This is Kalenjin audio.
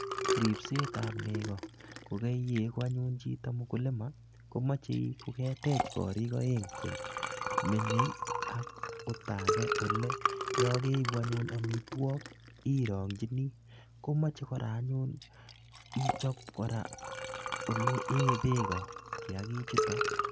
Ripset ab nego kokaiyegu anyun chito mkulima komoche inkoketech kotech korik aeng che menyei ak oldage ole yokeibu anyun amitwogik irongchini. Komoche anyun ichop kora ole een beeko, Kiagichuto.